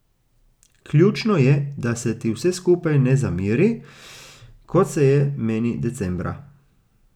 Ključno je, da se ti vse skupaj ne zameri, kot se je meni decembra.